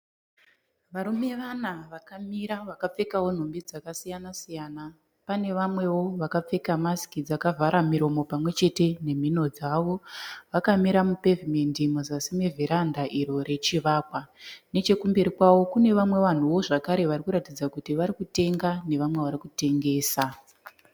Varume vana vakamira vakapfekawo nhumbi dzakasiyana siyana. Pane vamwewo vakapfeka masiki dzakavhara miromo pamwe chete nemhino dzavo. Vakamira mupevhumendi muzasi muvherenda iro rechivakwa. Nechekumberi kwavo kune vamwe vanhuwo zvakare vari kuratidza kuti varikutenga nevamwe vari kutengesa.